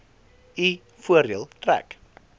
u voordeel trek